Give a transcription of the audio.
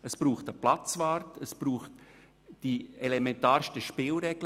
Es braucht einen Zaun, einen Platzwart, die elementarsten Spielregeln.